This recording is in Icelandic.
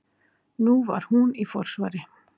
Nú var hún í forsvari.